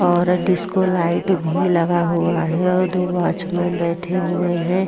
और disco light भी लगा हुआ है और दो वॉचमेन बैठे हुए है।